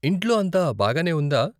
ఇంట్లో అంతా బాగానే ఉందా ?